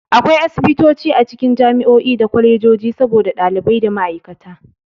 Akwai Asibitoci a cikin jami'o'i da kolejoji saboda ɗalibai da ma'aikata.